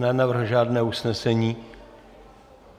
Nenavrhl žádné usnesení.